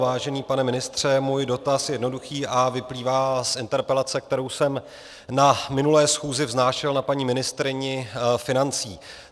Vážený pane ministře, můj dotaz je jednoduchý a vyplývá z interpelace, kterou jsem na minulé schůzi vznášel na paní ministryni financí.